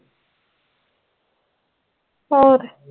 ਹੋਰ